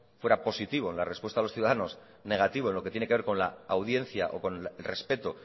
fuera positivo en la respuesta de los ciudadanos negativo en lo que tiene que ver con la audiencia o con el respeto